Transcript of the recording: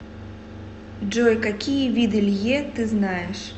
джой какие виды лье ты знаешь